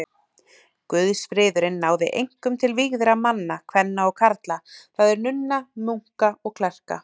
Guðsfriðurinn náði einkum til vígðra manna, kvenna og karla, það er nunna, munka og klerka.